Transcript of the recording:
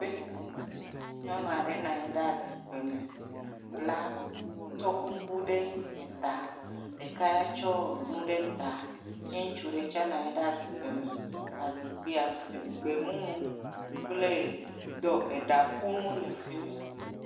E. Nyɔnu aɖe nɔ anyi ɖe zikpui me tsɔ kuku ɖe eta, ɖeka tsɔ nu ɖe ta, ŋutsu ɖe tse nɔ anyi ɖe azikpui me, azikpui gbe mumu kple ɖɔ eɖa ƒunu le fi mi.